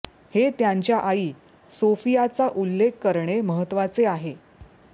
हे त्यांच्या आई सोफियाचा उल्लेख करणे महत्त्वाचे आहे